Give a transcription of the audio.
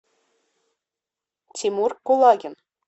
тимур кулагин